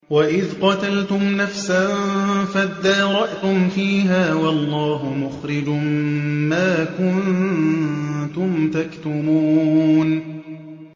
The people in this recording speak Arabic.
وَإِذْ قَتَلْتُمْ نَفْسًا فَادَّارَأْتُمْ فِيهَا ۖ وَاللَّهُ مُخْرِجٌ مَّا كُنتُمْ تَكْتُمُونَ